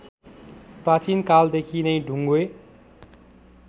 प्राचीनकालदेखि नै ढुङ्गे